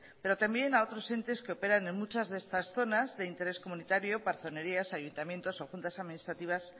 pero también a otros entes que operan en muchas de estas zonas de interés comunitario parzonerías ayuntamientos o juntas administrativas